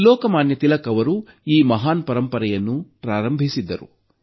ಲೋಕಮಾನ್ಯ ತಿಲಕ್ ಅವರು ಈ ಮಹಾನ್ ಪರಂಪರೆಯನ್ನು ಪ್ರಾರಂಭಿಸಿದ್ದರು